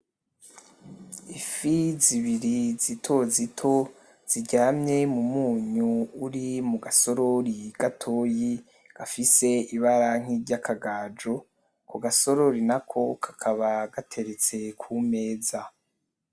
Ifi zibiri zitozito ziryamye mumunyu uri mugasorori gatoyi gafise ibara nk'iryakagaju ako gasorori nako kakaba gateretse kumeza.